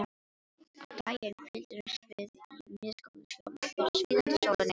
Á daginn hvíldumst við í misgóðu skjóli fyrir svíðandi sólinni.